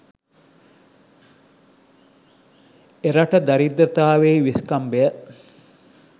එරට දරිද්‍රතාවෙහි විෂ්කම්භය